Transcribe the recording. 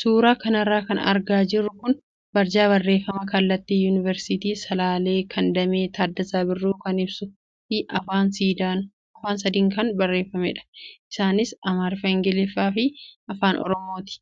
Suuraa kanarra kan argaa jirru kun barjaa barreeffama kallattii yuunivarsiitii Salaalaa kan Damee Taaddasaa Birruu kan ibsuu fi afaan sadiin kan barreeffamedha. Isaanis Amaariffa, ingiliffaa fi afaan oromooti.